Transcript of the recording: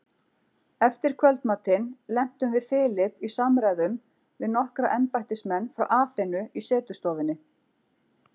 Eftir kvöldmatinn lentum við Philip í samræðum við nokkra embættismenn frá Aþenu í setustofunni.